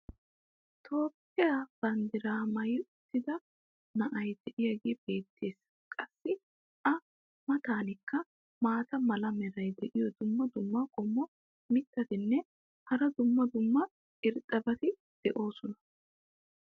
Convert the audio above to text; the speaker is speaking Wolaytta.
toophphiya banddiraa maayi uttida na"ay diyaagee beetees. qassi a matankka maata mala meray diyo dumma dumma qommo mitattinne hara dumma dumma irxxabati de'oosona.